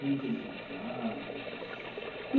Quando que ele tocava?